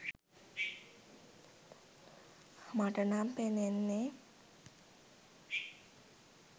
මට නම් පෙනෙන්නෙ,